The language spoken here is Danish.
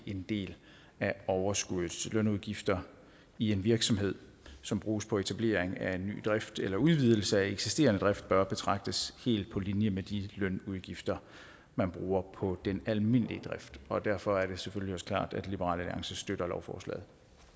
en del af overskuddet lønudgifter i en virksomhed som bruges på etablering af ny drift eller udvidelse af eksisterende drift bør betragtes helt på linje med de lønudgifter man bruger på den almindelige drift og derfor er det selvfølgelig også klart at liberal alliance støtter lovforslaget